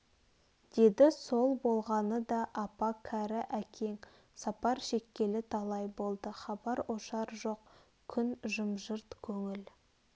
деді сол болғаны да апа кәрі әкең сапар шеккелі талай болды хабар-ошар жоқ күн жым-жырт көңіл